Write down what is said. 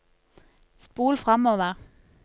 spol framover